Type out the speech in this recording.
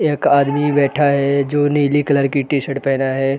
एक आदमी बैठा है जो नीली कलर की टी शर्ट पहना है।